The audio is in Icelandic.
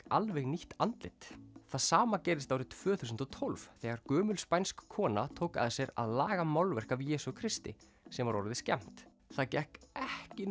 alveg nýtt andlit það sama gerðist árið tvö þúsund og tólf þegar gömul spænsk kona tók að sér að laga málverk af Jesú Kristi sem var orðið skemmt það gekk ekki